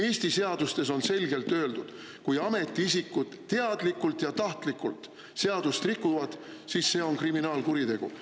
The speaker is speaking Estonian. Eesti seadustes on selgelt öeldud: kui ametiisikud teadlikult ja tahtlikult seadust rikuvad, siis see on kriminaalkuritegu.